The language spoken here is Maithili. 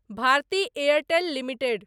Bharati Airtel limited